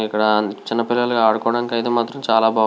ఇక్కడ చిన్న పిల్లలు ఆడుకోడానికి మాత్రం చాల --